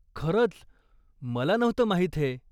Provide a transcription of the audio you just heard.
खरंच! मला नव्हतं माहीत हे.